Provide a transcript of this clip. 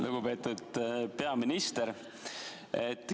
Lugupeetud peaminister!